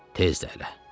Tez də elə.